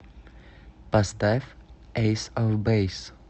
поставь эйс оф бэйс